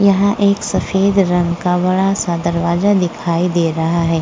यहां एक सफेद रंग का बड़ा सा दरवाजा दिखाई दे रहा है।